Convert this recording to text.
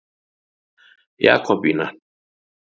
Jakobína